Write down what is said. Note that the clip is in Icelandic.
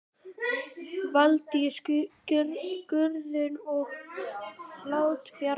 Valdís Guðrún og Halldór Bjarni.